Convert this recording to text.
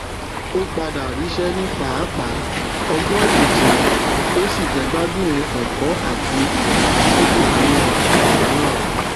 ó padà ríṣẹ ní pápá ọgbọn ìjìnlẹ ó sì jẹgbádùn ẹkọ àti ìdàgbàsókè nínú àwùjọ náà